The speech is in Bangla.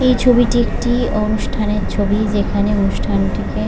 এই ছবিটি একটি অনুষ্ঠান এর ছবি যেখানে অনুষ্ঠানটিকে--